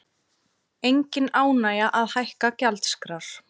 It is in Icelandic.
Engin ánægja að hækka gjaldskrár